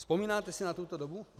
Vzpomínáte si na tuto dobu?